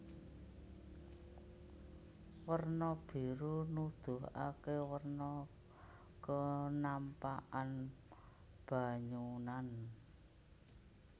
Werna biru nuduhaké werna kenampakan banyunan